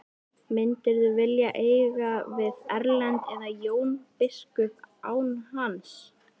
Myndirðu vilja eiga við Erlend eða Jón biskup án hans?